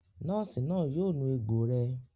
Nọ́ọ̀sì náà yóò nu egbò rẹ̀